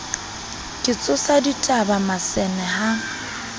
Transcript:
ke tsosa dibata masene ha